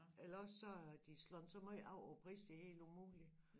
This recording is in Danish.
Eller også så har de slået så måj af på pris det helt umulig